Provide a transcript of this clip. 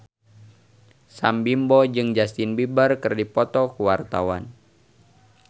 Sam Bimbo jeung Justin Beiber keur dipoto ku wartawan